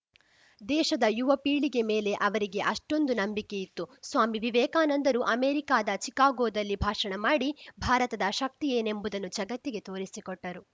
ದೇಶದ ಯುವ ಪೀಳಿಗೆ ಮೇಲೆ ಅವರಿಗೆ ಅಷ್ಟೊಂದು ನಂಬಿಕೆ ಇತ್ತು ಸ್ವಾಮಿವಿವೇಕಾನಂದರು ಅಮೇರಿಕಾದ ಚಿಕಾಗೋದಲ್ಲಿ ಭಾಷಣ ಮಾಡಿ ಭಾರತದ ಶಕ್ತಿ ಏನೆಂಬುದನ್ನು ಜಗತ್ತಿಗೆ ತೋರಿಸಿಕೊಟ್ಟರು